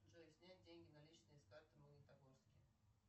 джой снять деньги наличные с карты в магнитогорске